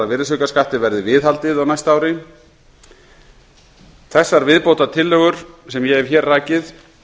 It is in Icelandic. af virðisaukaskatti verði viðhaldið á næsta ári þessar viðbótartillögur sem ég hef hér rakið